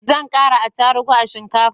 Zan kara atarubu a shinkafan